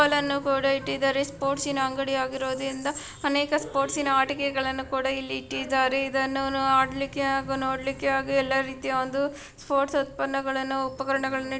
ಫುಟ್ಬಾಲ್ಗಳನ್ನು ಕೂಡ ಇಟ್ಟಿದ್ದಾರೆ ಸ್ಪೋರ್ಟ್ಸ್ ಯಿನ ಅಂಗಡಿ ಆಗಿರುವುದರಿಂದ ಅನೇಕ ಸ್ಪೋರ್ಟ್ಸ್ ಯಿನ ಆಟಿಕೆಗಳನ್ನು ಕೂಡ ಇಟ್ಟಿದ್ದಾರೆ. ಇದ್ದನ್ನುಅಡಲಿಕೆ ಹಾಗೂ ನೋಡಲಿಕೆ ಹಾಗು ಎಲ್ಲಾ ರೀತಿಯ ಒಂದು ಸ್ಪೋರ್ಟ್ಸ್ ಉತ್ಪನ್ನಗಳನ್ನು ಉಪಕರಣಗಳನ್ನು ಇಟ್--